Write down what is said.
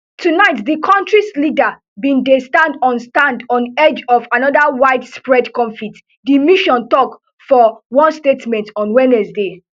tonight di kontris leaders bin dey stand on stand on edge of anoda widespread conflict di mission tok for one statement on wednesday